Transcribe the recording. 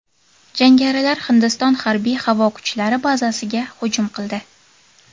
Jangarilar Hindiston harbiy-havo kuchlari bazasiga hujum qildi.